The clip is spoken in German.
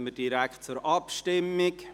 Dann kommen wir direkt zur Abstimmung.